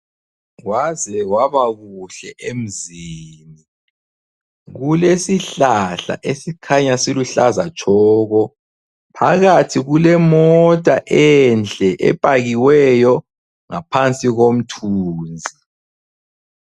Kwaze kwabakuhle emzini, kulesihlahla esikhanya siluhlaza tshoko. Phakathi kulemota enhle epakiweyo ngaphansi komthunzi.